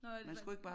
Nåh er det